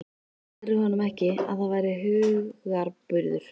Sagðirðu honum ekki, að það væri hugarburður?